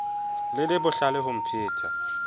le le bohlale ho mpheta